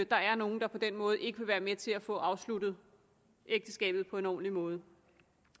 der er nogen der på den måde ikke vil være med til at få afsluttet ægteskabet på en ordentlig måde